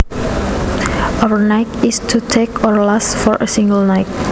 Overnight is to take or last for a single night